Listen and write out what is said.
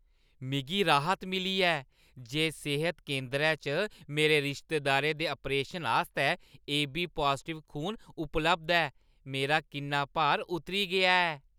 मिगी राह्‌‌त मिली ऐ जे सेह्त केंदरै च मेरे रिश्तेदारै दे आपरेशन आस्तै एबी पाजटिव खून उपलब्ध ऐ। मेरा किन्ना भार उतरी गेआ ऐ।